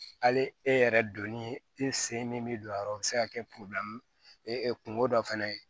Hali e yɛrɛ donni e sen min mi don a yɔrɔ bi se ka kɛ kungo dɔ fɛnɛ ye